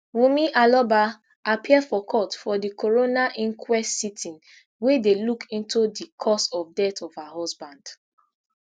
wunmi aloba appear for court for di coroner inquest sitting wey dey look into di cause of death of her husband